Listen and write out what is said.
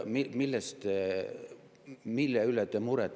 Mille üle te muret tunnete?